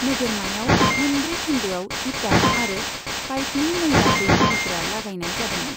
नोगोरमायाव मोनब्रै खोन्दोआव ईटा आरो पाइपनि मैला दै बोहैग्रा लागायनाय जादोंमोन।